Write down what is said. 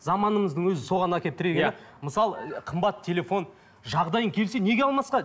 заманымыздың өзі соған әкеліп тіре мысалы қымбат телефон жағдайың келсе неге алмасқа